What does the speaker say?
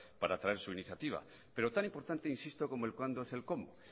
para traer su iniciativa pero tan importante insisto como el cuándo es el cómo